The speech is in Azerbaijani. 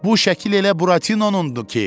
Bu şəkil elə Buratinonundu ki!